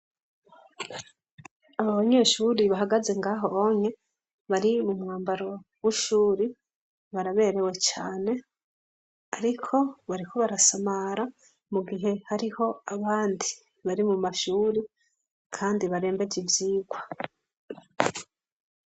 Abanyeshuri bahagaze ngaho onye bari mu mwambaro w'ishuri baraberewe cane ariko bariko barasamara mu gihe hariho abandi mari muma shuri kandi barembeje ivyirwa.